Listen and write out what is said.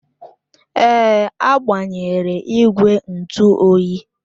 Èé, agbanyere igwe ntụ oyi.